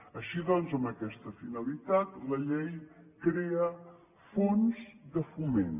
així doncs amb aquesta finalitat la llei crea fons de foment